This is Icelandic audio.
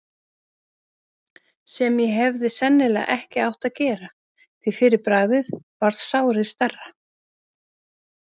sem ég hefði sennilega ekki átt að gera, því fyrir bragðið varð sárið stærra.